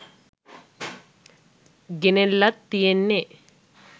ගෙනල්ලත් තියෙන්නේ